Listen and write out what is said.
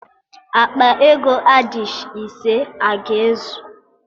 Akpa ego adishị ise a ga-ezu?